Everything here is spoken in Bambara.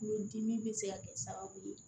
Kulodimi bɛ se ka kɛ sababu ye